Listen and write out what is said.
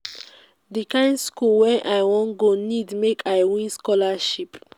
di kind skool wey i wan go need make i win scholarship.